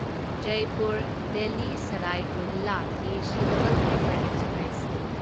Jaipur Delhi Sarai Rohilla AC double decker express